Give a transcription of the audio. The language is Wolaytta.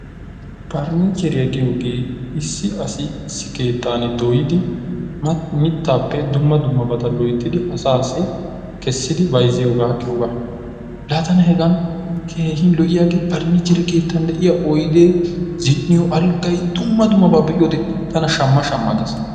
Farnniichcheriya giyogee issi asi issi keettan dooyidi mittaappe dumma dummabata loyittidi asaassi kessidi bayizziyogaa giyogaa. Laatana hegan keehi lo'iyaagee farnniichchere keettan de'iya oyidee, zin"iyo alggay, dumma dummabaa be'iyode tana shamma shamma gees.